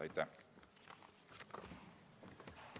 Aitäh!